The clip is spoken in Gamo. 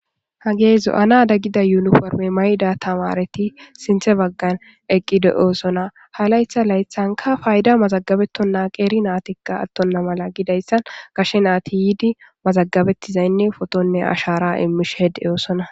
hage zo'anada giza yuniforime mayiza tamare nati sinthe bagani eqi dosona ha layitha layithanika payida mazagabetona keri natika atona gizayisa qeri nati ashara imishe dosona